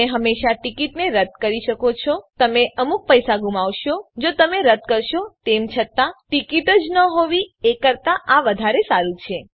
તમે હંમેશાં ટીકીટને રદ્દ કરી શકો છો તમે અમુક પૈસા ગુમાવશો જો તમે રદ્દ કરશો તેમ છતાં ટીકીટ જ ન હોવી એ કરતાં આ વધારે સારું છે